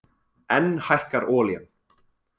Enn hækkar olían